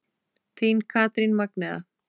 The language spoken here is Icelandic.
Þín Katrín Magnea.